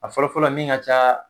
A fɔlɔfɔlɔ min ka caaa.